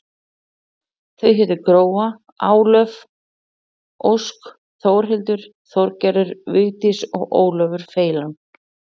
Þau hétu Gróa, Álöf, Ósk, Þórhildur, Þorgerður, Vigdís og Ólafur feilan.